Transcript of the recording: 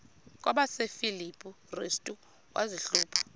kwabasefilipi restu wazihluba